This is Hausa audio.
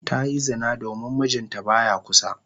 Ta yi zina domin mijinta ba ya kusa.